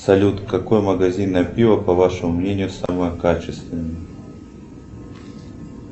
салют какое магазинное пиво по вашему мнению самое качественное